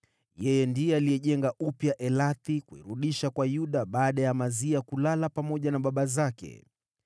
Ndiye alijenga upya Elathi kuirudisha kwa Yuda baada ya Amazia kulala pamoja na baba zake.